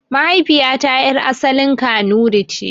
Mahaifiyata yar' asalin kanuri ce.